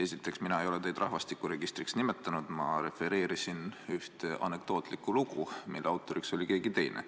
Esiteks, mina ei ole teid rahvastikuregistriks nimetanud, ma refereerisin ühte anekdootlikku lugu, mille autor oli keegi teine.